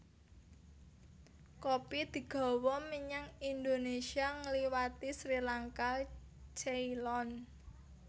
Kopi digawa menyang Indonésia ngliwati Sri Lanka Ceylon